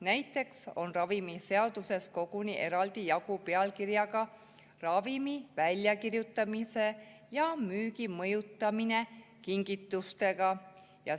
Näiteks on ravimiseaduses koguni eraldi jagu pealkirjaga "Ravimi väljakirjutamise ja müügi mõjutamine kingitustega".